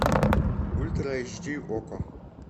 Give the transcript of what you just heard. ультра эйч ди окко